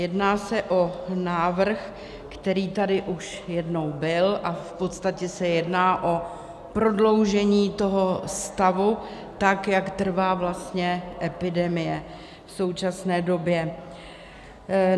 Jedná se o návrh, který tady už jednou byl, a v podstatě se jedná o prodloužení toho stavu, tak jak trvá vlastně epidemie v současné době.